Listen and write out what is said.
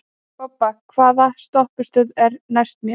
Bobba, hvaða stoppistöð er næst mér?